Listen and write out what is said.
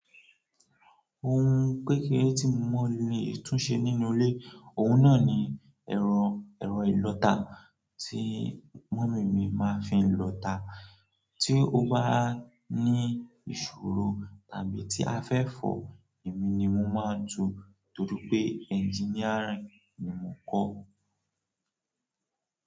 Ohun kékeré tí mo lè tún ṣe nínú ilé, òun náà ni ẹ̀rọ, ẹ̀rọ ìlọta tí mọ̀mí mi máa fi ń lọta. Tí ó bá ní ìṣòro tàbí tí a fẹ́ fọ̀, èmi ni mo máa ń tu torí pé engineering ni mo kọ́.